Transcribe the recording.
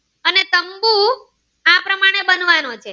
બનવાનો છે